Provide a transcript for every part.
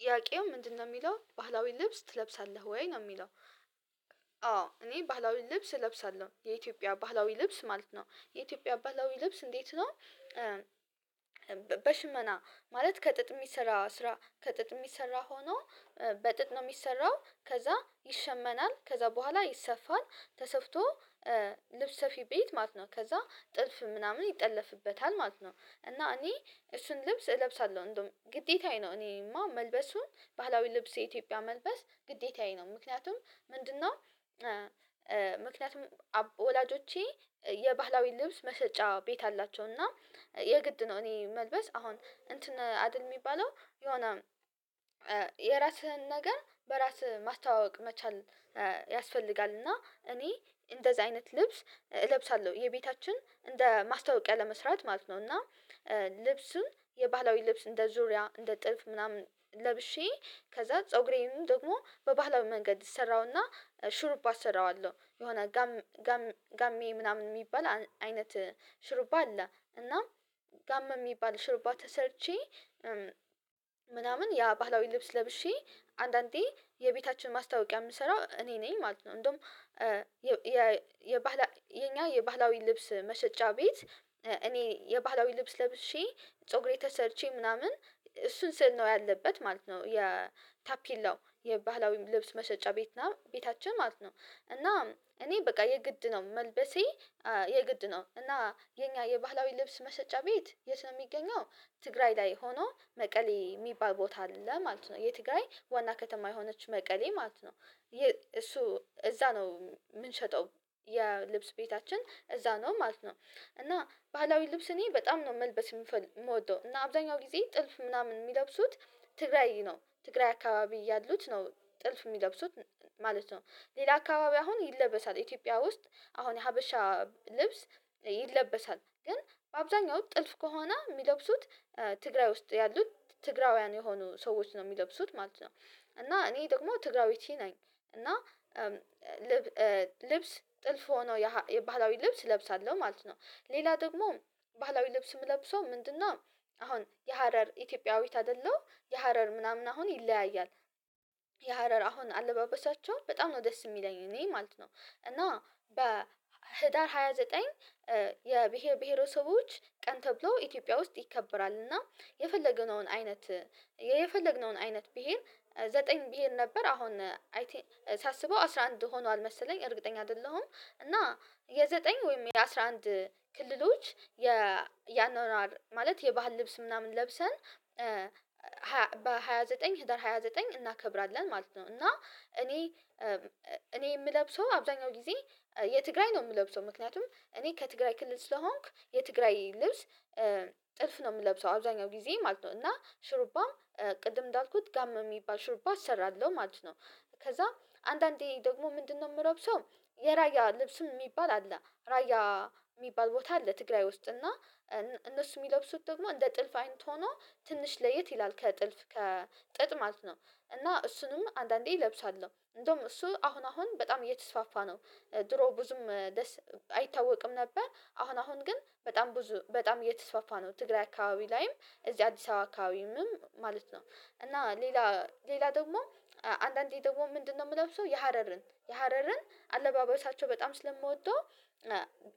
ጥያቄው ምንድነው ሚለው ባህላዊ ልብስ ትለብሳለህ ወይ ነው የሚለው? አዎ እኔ ባህላዊ ልብስ እለብሳለሁ የኢትዮጵያ ባህላዊ ልብስ ማለት ነው። የኢትዮጵያ ባህላዊ ልብስ እንዴት ነው? በሽመና ማለት ከጥጥ የሚሰራ ስራ ከጥጥ የሚሰራ ሆኖ በጥጥ ነው የሚሰራው ከዛ ይሸመናል ከዛ በኋላ ይሰፋል። ተሰፍቶ ልብስ ሰፊ ቤት ማለት ነው ከዛ ጥልፍ ምናምን ይጠለፍበታል ማለት ነው። እና እኔ እሱን ልብስ እለብሳለሁ እንደውም ግዴታዬ ነው እኔማ መልበሱን ባህላዊ ልብስ የኢትዮጵያ መልበስ ግዴታዬ ነው። ምክንያቱም ምንድነው? ምክንያቱም ወላጆቼ የባህላዊ ልብስ መሸጫ ቤት አላቸው እና የግድ ነው። እኔ መልበስ አሁን እንትን አድል የሚባለው የሆነ የራስህን ነገር በራስህ ማስተዋወቅ መቻል ያስፈልጋል። እና እኔ እንደዚህ አይነት ልብስ እለብሳለሁ የቤታችን እንደ ማስታወቂያ ለመስራት ማለት ነው። እና ልብሱን የባህላዊ ልብስ እንደ ዙሪያ እንደ ጥልፍ ምናምን ለብሼ ከዛ ፀጉሬንም ደግሞ በባህላዊ መንገድ እሰራውና ሽሩባ እሰራዋለሁ የሆነ ጋም ጋም ጋሚ ምናምን የሚባል አይነት ሽሩባ አለ። እና ጋም የሚባል ሽርባ ተሰርቼ ምናምን ያ ባህላዊ ልብስ ለብሼ አንዳንዴ የቤታችን ማስታወቂያ የምሰራው እኔ ነኝ ማለት ነው። እንደውም የባህላ የኛ የባህላዊ ልብስ መሸጫ ቤት እኔ የባህላዊ ልብስ ለብሼ ፀጉሬ ተሰርቼ ምናምን እሱ ምስል ነው ያለበት ማለት ነው። የታፔላው የባህላዊ ልብስ መሸጫ ቤት ነው ቤታችን ማለት ነው። እና እኔ በቃ የግድ ነው መልበሴ የግድ ነው። እና የኛ የባህላዊ ልብስ መሸጫ ቤት የት ነው የሚገኘው? ትግራይ ላይ ሆኖ መቀሌ የሚባል ቦታ አለ ማለት ነው የትግራይ ዋና ከተማ የሆነች መቀሌ ማለት ነው። እሱ እዛ ነው የምንሸጠው የልብስ ቤታችን እዛ ነው ማለት ነው። እና ባህላዊ ልብስ እኔ በጣም ነው መልበስ የምወደው እና አብዛኛው ጊዜ ጥልፍ ምናምን የሚለብሱት ትግራይ ነው ትግራይ አካባቢ ያሉት ነው ጥልፍ የሚለብሱት ማለት ነው። ሌላ አካባቢ አሁን ይለበሳል ኢትዮጵያ ውስጥ አሁን የሀበሻ ልብስ ይለበሳል ግን በአብዛኛው ጥልፍ ከሆነ የሚለብሱት ትግራይ ውስጥ ያሉት ትግራውያን የሆኑ ሰዎች ነው የሚለብሱት ማለት ነው። እና እኔ ደግሞ ትግራዊቲ ነኝ። እና ልብስ ጥልፍ ሆኖ የባህላዊ ልብስ እለብሳለሁ ማለት ነው። ሌላ ደግሞ ባህላዊ ልብስ የምለብሰው ምንድነው? አሁን የሀረር ኢትዮጵያዊት አይደለው የሀረር ምናምን አሁን ይለያያል የሀረር አሁን አለባበሳቸው በጣም ነው ደስ የሚለኝ እኔ ማለት ነው። እና በህዳር ሃያ ዘጠኝ የብሄር ብሄረሰቦች ቀን ተብሎ ኢትዮጵያ ውስጥ ይከበራል እና የፈለገነውን አይነት የፈለግነውን አይነት ቢሄድ ዘጠኝ ቢሄድ ነበር አሁን አይ ቲንክ ሳስበው አስራ አንድ ሆኗል መሰለኝ እርግጠኛ አይደለሁም እና የዘጠኝ ወይም የአስራ አንድ ክልሎች ያኗኗር ማለት የባህል ልብስ ምናምን ለብሰን በሃያ ዘጠኝ ህዳር ሃያ ዘጠኝ እናከብራለን ማለት ነው። እና እኔ እኔ የምለብሰው አብዛኛው ጊዜ የትግራይ ነው የምለብሰው ምክንያቱም እኔ ከትግራይ ክልል ስለሆንኩ የትግራይ ልብስ ጥልፍ ነው የምለብሰው አብዛኛው ጊዜ ማለት ነው። እና ሽሩባም ቅድም እንዳልኩት ጋም የሚባል ሽሩባ እሰራለሁ ማለት ነው። ከዛ አንዳንዴ ደግሞ ምንድነው? የምሎብሰው የራያ ልብስም ሚባል አለ ራያ ሚባል ቦታ አለ ትግራይ ውስጥ እና እነሱ የሚለብሱት ደግሞ እንደ ጥልፍ አይነት ሆኖ ትንሽ ለየት ይላል ከጥልፍ ከጥጥ ማለት ነው። እና እሱንም አንዳንዴ እለብሳለሁ እንደውም እሱ አሁን አሁን በጣም እየተስፋፋ ነው። ድሮ ብዙም ደስ አይታወቅም ነበር አሁን አሁን ግን በጣም ብዙ በጣም እየተስፋፋ ነው ትግራይ አካባቢ ላይም እዚህ አዲስ አበባ አካባቢ ማለት ነው። እና ሌላ ሌላ ደግሞ አንዳንዴ ደግሞ ምንድነው? የምለብሰው የሀረርን የሀረርን አለባበሳቸው በጣም ስለምወደው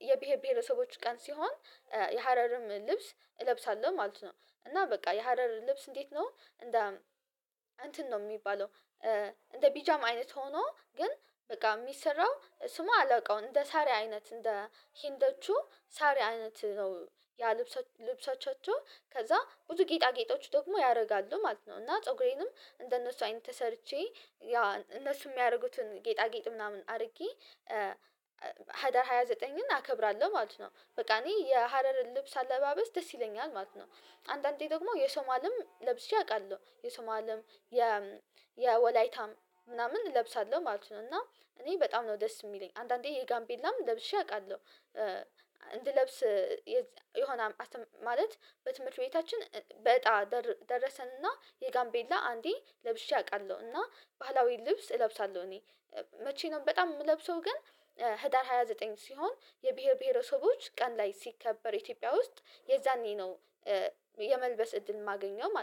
የብሄር ብሄረሰቦች ቀን ሲሆን የሀረርም ልብስ እለብሳለሁ ማለት ነው። እና በቃ የሀረር ልብስ እንዴት ነው እንደ እንትን ነው የሚባለው እንደ ቢጃማ አይነት ሆኖ ግን በቃ የሚሰራው ስሙ አላውቀውም እንደ ሳሪ አይነት እንደ ሂንዶቹ ሳሪ አይነት ነው። ያ ልብሶ ልብሶቻቸው ከዛ ብዙ ጌጣጌጦች ደግሞ ያደርጋሉ ማለት ነው እና ፀጉሬንም እንደነሱ አይነት ተሰርቼ ያ እነሱ የሚያደርጉትን ጌጣጌጥ ምናምን አርጌ ህዳር ሃያ ዘጠኝን አከብራለሁ ማለት ነው። በቃ እኔ የሀረርን ልብስ አለባበስ ደስ ይለኛል ማለት ነው። አንዳንዴ ደግሞ የሶማልም ለብሼ አቃለሁ የሶማልም የ ወላይታም ምናምን እለብሳለሁ ማለት ነው። እና እኔ በጣም ነው ደስ የሚለኝ አንዳንዴ የጋምቤላም ለብሼ አውቃለሁ። እንድለብስ የሆነ ማለት በትምህርት ቤታችን በእጣ ደረሰንና የጋምቤላ አንዴ ለብሼ አቃለሁ እና ባህላዊ ልብስ እለብሳለሁ። እኔ መቼ ነው በጣም የምለብሰው ግን ህዳር ሃያ ዘጠኝ ሲሆን የብሄር ብሄረሰቦች ቀን ላይ ሲከበር ኢትዮጵያ ውስጥ የዛኔ ነው። የመልበስ እድል የማገኘው ማለት ነው